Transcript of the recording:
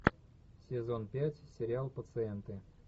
сезон пять сериал пациенты